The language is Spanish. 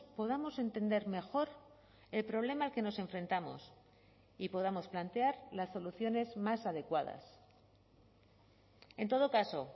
podamos entender mejor el problema a que nos enfrentamos y podamos plantear las soluciones más adecuadas en todo caso